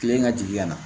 Kile ka jigin ka na